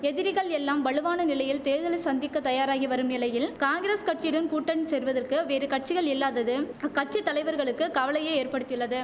எதிரிகள் எல்லாம் வலுவான நிலையில் தேர்தலை சந்திக்க தயாராகி வரும் நிலையில் காங்கிரஸ் கட்சியுடன் கூட்டணி சேர்வதற்கு வேறு கட்சிகள் இல்லாதது அக்கட்சி தலைவர்களுக்கு கவலையை ஏற்படுத்தியுள்ளது